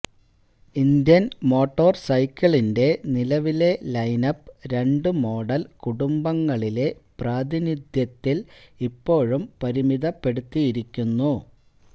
Indian മോട്ടോർസൈക്കിളിന്റെ നിലവിലെ lineup രണ്ട് മോഡൽ കുടുംബങ്ങളിലെ പ്രാതിനിധ്യത്തിൽ ഇപ്പോഴും പരിമിതപ്പെടുത്തിയിരിക്കുന്നു